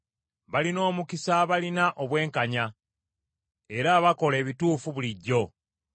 Balina omukisa abalina obwenkanya, era abakola ebituufu bulijjo.